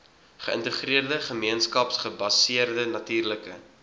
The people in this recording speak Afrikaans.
geïntegreerde gemeenskapsgebaseerde natuurlike